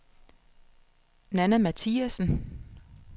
Nanna Mathiasen